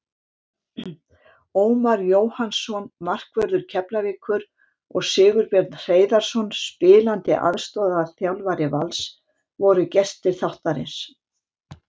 Ómar Jóhannsson, markvörður Keflavíkur, og Sigurbjörn Hreiðarsson, spilandi aðstoðarþjálfari Vals, voru gestir þáttarins.